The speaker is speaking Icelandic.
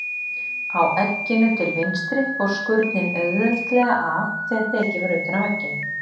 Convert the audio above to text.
Á egginu til vinstri fór skurnin auðveldlega af þegar tekið var utan af egginu.